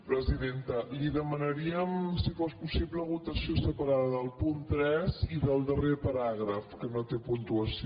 presidenta li demanaríem si fos possible votació separada del punt tres i del darrer paràgraf que no té puntuació